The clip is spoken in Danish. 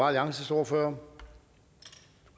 alliances ordfører